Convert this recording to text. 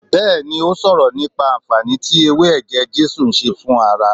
Bẹẹni, ó sọ̀rọ̀ nípa anfaani tí ewé ẹ̀jẹ̀ Jésù ń ṣe fún ara